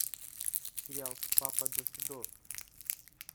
сериал папа досвидос